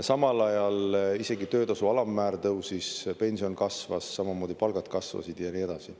Samal ajal isegi töötasu alammäär tõusis, pension kasvas, samamoodi palgad kasvasid, ja nii edasi.